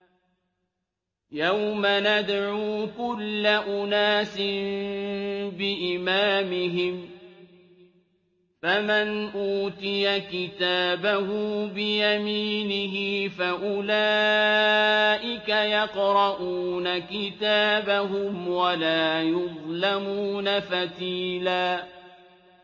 يَوْمَ نَدْعُو كُلَّ أُنَاسٍ بِإِمَامِهِمْ ۖ فَمَنْ أُوتِيَ كِتَابَهُ بِيَمِينِهِ فَأُولَٰئِكَ يَقْرَءُونَ كِتَابَهُمْ وَلَا يُظْلَمُونَ فَتِيلًا